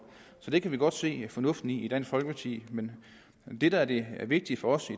så det kan vi godt se fornuften i i dansk folkeparti men det der er det vigtige for os i